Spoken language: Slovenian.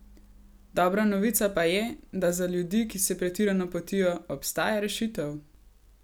Dobra novica pa je, da za ljudi, ki se pretirano potijo, obstaja rešitev!